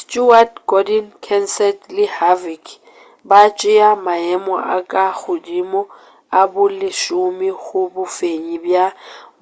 stewart gordon kenseth le harvick ba tšea maemo a ka godimo a bolesome go bofenyi bja